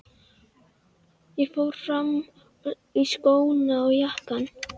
Ég fór fram og í skóna og jakkann.